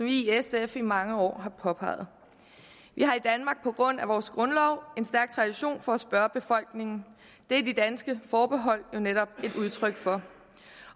i sf i mange år har påpeget vi har i danmark på grund af vores grundlov en stærk tradition for at spørge befolkningen det er de danske forbehold jo netop et udtryk for